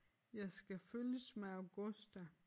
Jeg skal følges med Augusta